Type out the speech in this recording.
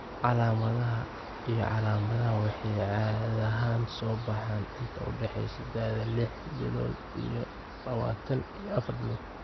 Calaamadaha iyo calaamadaha waxay caadi ahaan soo baxaan inta u dhaxaysa da'da lix bilood iyo labataan iyo afar bilood.